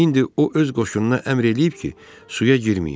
İndi o öz qoşununa əmr eləyib ki, suya girməyin.